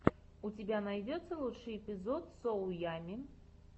у тебя найдется лучший эпизод соу ямми